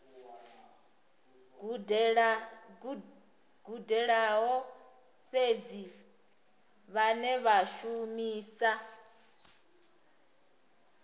gudelaho fhedzi vhane vha shumisa